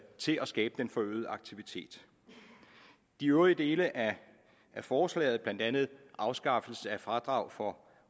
til at skabe den forøgede aktivitet de øvrige dele af forslaget blandt andet afskaffelse af fradrag for